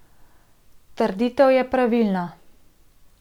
Trditev je pravilna.